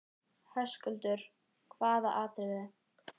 Höskuldur: Hvaða atriðið?